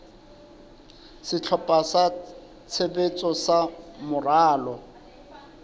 sehlopha sa tshebetso sa moralo